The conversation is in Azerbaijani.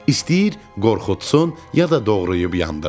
İstəyir qorxutsun, ya da doğrayıb yandırsın.